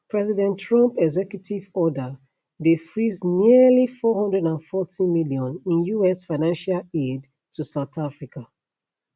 president trump executive order dey freeze nearly 440 million in us financial aid to south africa